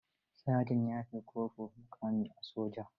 Saja ya fi kofur muƙami a soja.